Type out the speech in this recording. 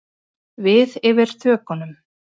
Við yfir þökunum.